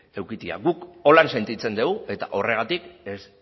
edukitzea guk horrela sentitzen degu eta horregatik ez